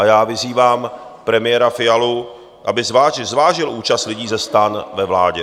A já vyzývám premiéra Fialu, aby zvážil účast lidí ze STAN ve vládě.